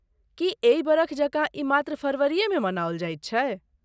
की एहि बरख जकाँ ई मात्र फरवरीएमे मनाओल जाइत छै?